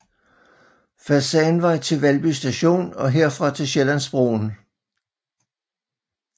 Fasanvej til Valby Station og herfra til Sjællandsbroen